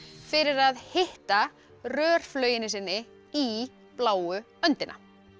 fyrir að hitta rörflauginni sinni í bláu öndina